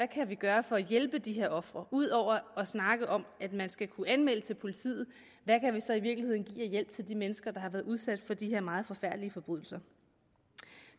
kan gøre for at hjælpe de her ofre udover at snakke om at man skal kunne anmelde til politiet hvad kan vi så i virkeligheden give af hjælp til de mennesker der har været udsat for de her meget forfærdelige forbrydelser